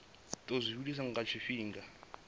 tou zwi vhilisa lwa tshifhinga